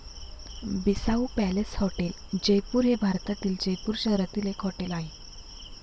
Bissau palace hotel, Jaipur हे भारतातील जयपूर शहरातील एक हॉटेल आहे.